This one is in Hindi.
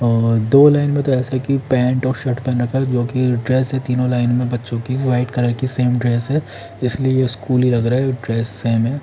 और दो लाइन में तो ऐसा हैं कि पेंट और शर्ट पहन रखा हैं जो की ड्रेस हैं तीनों लाइन में बच्चो की वाइट कलर की सेम ड्रेस हैं इसलिए ये स्कूल ही लग रहा हैं ड्रेस सेम हैं।